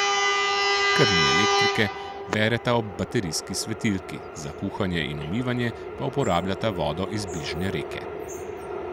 Ker ni elektrike, bereta ob baterijski svetilki, za kuhanje in umivanje pa uporabljata vodo iz bližnje reke.